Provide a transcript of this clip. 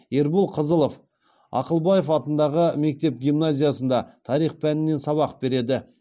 ербол қызылов ақылбаев атындағы мектеп гимназиясында тарих пәнінен сабақ береді